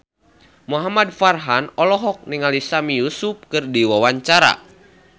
Muhamad Farhan olohok ningali Sami Yusuf keur diwawancara